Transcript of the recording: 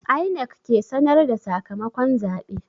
INEC ke sanar da sakamakon zabe.